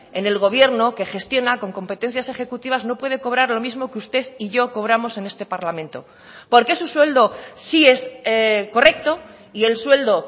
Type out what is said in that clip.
en el gobierno que gestiona con competencias ejecutivas no puede cobrar lo mismo que usted y yo cobramos en este parlamento por qué su sueldo sí es correcto y el sueldo